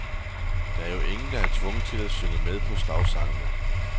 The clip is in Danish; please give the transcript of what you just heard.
Der er jo ingen, der er tvunget til at synge med på slagsangene.